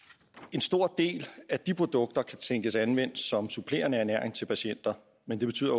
en stor del af de produkter kan tænkes anvendt som supplerende ernæring til patienter men det betyder